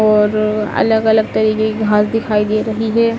और अलग अलग तरीके की घास दिखाई दे रही है।